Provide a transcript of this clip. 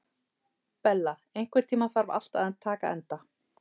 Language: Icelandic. Bella, einhvern tímann þarf allt að taka enda.